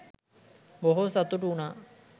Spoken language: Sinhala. බොහෝ සතුටු වුනා.